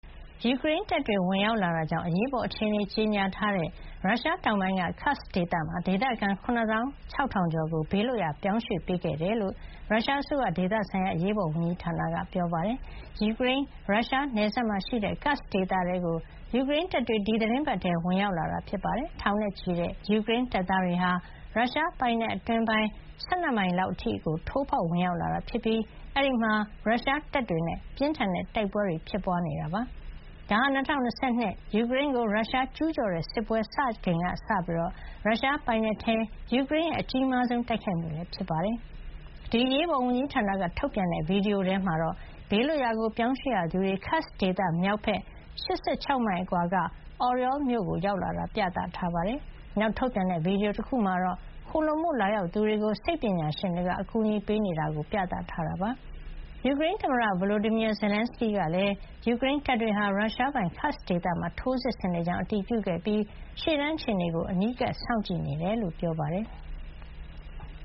ယူကရိန်းတပ်တွေ ဝင်ရောက်လာတာကြောင့် အရေးပေါ် အခြေနေ ကြေညာထားတဲ့ ရုရှားတောင်ပိုင်းက Kursk ဒေသမှာ၊ ဒေသခံ ၇၆,၀၀၀ ကျော်ကို ဘေးလွှတ်ရာ ရွှေ့ပြောင်း ပေးခဲ့တယ်လို့ ရုရှားအစိုးရ ဒေသဆိုင်ရာ အရေးပေါ်ဝန်ကြီးဌာနက ပြောပါတယ်။ ယူကရိန်း ရုရှားနယ်စပ်မှာ ရှိတဲ့ Kursk ဒေသထဲကို ယူကရိန်းတပ်တွေ ဒီသီတင်းပတ်ထဲ ဝင်ရောက်လာတာပါ။ထောင်နဲ့ချီတဲ့ ယူကရိန်းတပ်သား တွေဟာ ရုရှားပိုင်နက်အတွင်းပိုင်း ၁၂ မိုင် လောက်အထိကို ထိုးဖောက် ဝင်ရောက်လာတာ ဖြစ်ပြီး အဲဒီမှာ ရုရှားတပ်တွေနဲ့ ပြင်းထန်တဲ့ တိုက်ပွဲတွ ဖြစ်ပွားနေ ပါတယ်။ ဒါဟာ ၂၀၂၂ ယူကရိန်းကို ရုရှားကျူးကျော်တဲ့ စစ်ပွဲ စတင်ခဲ့ချိန်ကစပြီး ရုရှားပိုင်နက်ထဲ ယူကရိန်းရဲ့ အကြီးမားဆုံး တိုက်ခိုက်မှု လည်း ဖြစ်ပါတယ်။ ဒီ အရေးပေါ်ဝန်ကြီးဌာနက ထုတ်ပြန်တဲ့ ဗီဒီယို ထဲမှာတော့ ဘေးလွတ်ရာ ပြောင်းရွှေ့ရသူတွေ Kursk ဒေသ မြောက်ဘက် ၈၆ မိုင် အကွာက Oryol မြို့ ရောက်လာတာကို ပြသထားပါတယ်။ နောက် ထုတ်ပြန်တဲ့ ဗီဒီယို တခုမှာတော့ ခိုလှုံဖို့ လာရောက်သူတွေကို စိတ်ပညာရှင်တွေက အကူညီပေးနေတာကို ပြသထားပါတယ်။ ယူကရိန်းသမ္မတ Volodemyr Zelenskyy ကလည်း ယူရိန်းတပ်တွေဟာ ရုရှားပိုင် Kursk ဒေသမှာ ထိုးစစ်ဆင်နေကြောင်း အတည်ပြုခဲ့ပြီး ရှေ့တန်း အခြေနေကို အနီးကပ် စောင့်ကြည့်နေကြောင်း ပြောပါတယ်။